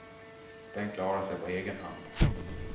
Den klarar sig på egen hand.